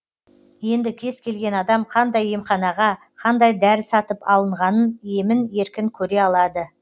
енді кез келген адам қандай емханаға қандай дәрі сатып алынғанын емін еркін көре алады